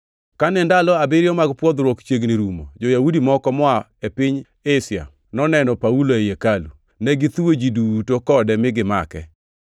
Kane ndalo abiriyo mag pwodhruok chiegni rumo, jo-Yahudi moko moa e piny Asia noneno Paulo ei hekalu. Ne githuwo ji duto kode mi gimake,